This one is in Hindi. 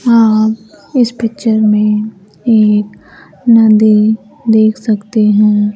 आप इस पिक्चर में एक नदी देख सकते हैं।